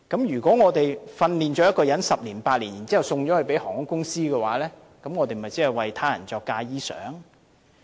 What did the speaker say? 如果我們花了8至10年訓練出一位機師，然後卻送了給航空公司的話，那麼我們即是"為他人作嫁衣裳"。